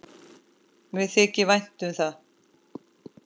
Mér þykir vænt um það.